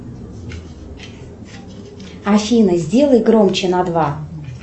афина сделай громче на два